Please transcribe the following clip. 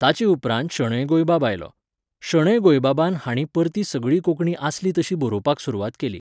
ताचे उपरांत शणैं गोंयबाब आयलो. शणैं गोंयबाबान हांणी परत सगळी कोंकणी आसली तशी बरोवपाक सुरवात केली